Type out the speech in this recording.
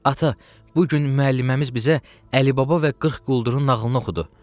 Ata, bu gün müəlləməmiz bizə Əli Baba və 40 quldurun nağılını oxudu.